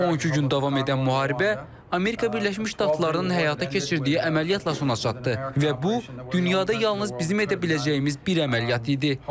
12 gün davam edən müharibə Amerika Birləşmiş Ştatlarının həyata keçirdiyi əməliyyatla sona çatdı və bu dünyada yalnız bizim edə biləcəyimiz bir əməliyyat idi.